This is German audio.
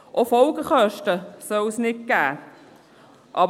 Auch Folgekosten soll es keine geben.